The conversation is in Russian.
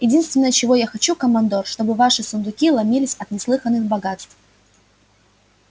единственное чего я хочу командор чтобы ваши сундуки ломились от неслыханных богатств